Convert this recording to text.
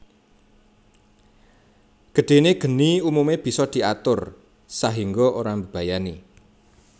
Gedhene geni umume bisa diatur sahengga ora mbebayani